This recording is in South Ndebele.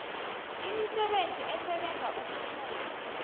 imisebenzi esebenza ukusuka